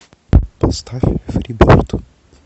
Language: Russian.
поставь фри берд